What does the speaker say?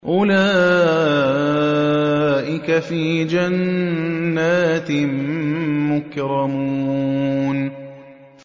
أُولَٰئِكَ فِي جَنَّاتٍ مُّكْرَمُونَ